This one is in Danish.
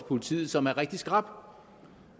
politiet som er rigtig skrap